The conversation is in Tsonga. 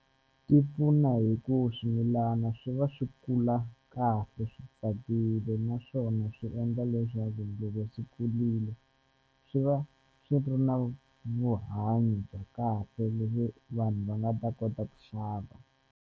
Ti pfuna hi ku swimilana swi va swi kula kahle swi tsakile naswona swi endla leswaku loko swi kulile swi va swi ri na vuhanyo bya kahle vanhu va nga ta kota ku xava.